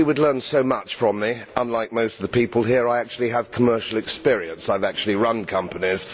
He would learn so much from me, since, unlike most of the people here, I actually have commercial experience. I have actually run companies.